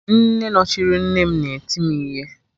Nne nọchiri nne m na-eti m ihe